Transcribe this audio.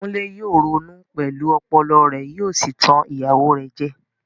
Kunle yóò ronú pẹ̀lú ọpọlọ rẹ̀ yóò sì tan ìyàwó rẹ̀ jẹ.